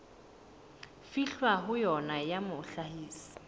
fihlwang ho yona ya mohlahisi